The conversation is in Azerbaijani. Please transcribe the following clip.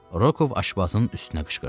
Rokov aşpazın üstünə qışqırdı.